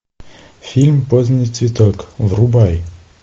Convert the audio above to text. фильм поздний цветок врубай